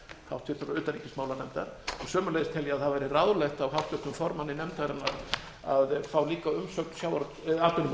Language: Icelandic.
háttvirtrar utanríkismálanefndar sömuleiðis tel ég að það væri ráðlegt af háttvirtum formanni nefndarinnar að fá líka umsögn atvinnumálanefndar